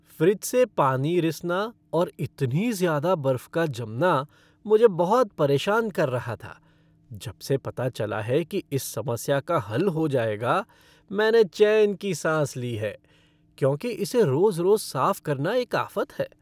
Fridge से पानी रिसना और इतनी ज़्यादा बर्फ़ का जमना मुझे बहुत परेशान कर रहा था। जब से पता चला है कि इस समस्या का हल हो जाएगा, मैंने चैन की साँस ली है क्योंकि इसे रोज़ रोज़ साफ़ करना एक आफ़त है।